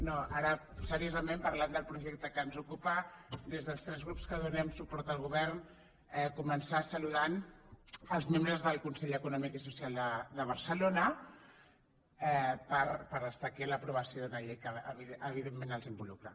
no ara seriosament parlant del projecte que ens ocupa des dels tres grups que donem suport al govern començar saludant els membres del consell econòmic i social de barcelona pel fet d’estar aquí en l’aprovació d’una llei que evidentment els involucra